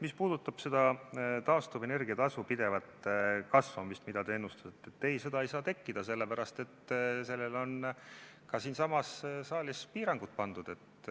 Mis puudutab taastuvenergia tasu pidevat kasvamist, mida te ennustate, siis ei, seda ei saa tekkida, sest sellele on ka siinsamas saalis piirangud pandud.